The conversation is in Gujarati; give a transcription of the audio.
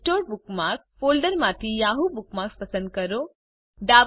આ અનસોર્ટેડ બુકમાર્ક્સ ફોલ્ડરમાંથી યાહૂ બુકમાર્ક્સ પસંદ કરો